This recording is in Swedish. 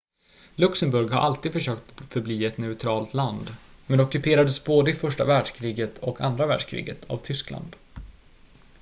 luxemburg har alltid försökt att förbli ett neutralt land men ockuperades både i första världskriget och andra världskriget av tyskland